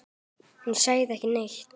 Hún sagði ekki neitt.